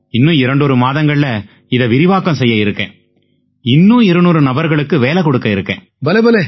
இன்னும் இரண்டொரு மாதங்கள்ல இதை விரிவாக்கம் செய்ய இருக்கேன் இன்னும் 200 நபர்களுக்கு வேலை கொடுக்க இருக்கேன்